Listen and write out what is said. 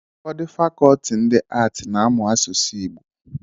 ụfọdụ fàkọọtị ndi áátị na-amụ asụsụ igbo